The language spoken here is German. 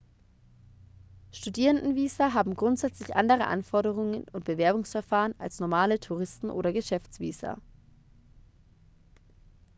studierendenvisa haben grundsätzlich andere anforderungen und bewerbungsverfahren als normale touristen oder geschäftsvisa